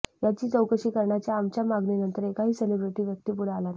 याची चौकशी करण्याच्या आमच्या मागणीनंतर एकाही सेलिब्रेटी व्यक्ती पुढे आला नाही